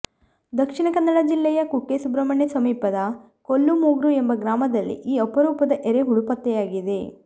ದಕ್ಷಿಣ ಕನ್ನಡ ಜಿಲ್ಲೆಯ ಕುಕ್ಕೆ ಸುಬ್ರಮಣ್ಯ ಸಮೀಪದ ಕೊಲ್ಲಮೊಗ್ರು ಎಂಬ ಗ್ರಾಮದಲ್ಲಿ ಈ ಅಪರೂಪದ ಎರೆಹುಳು ಪತ್ತೆಯಾಗಿದೆ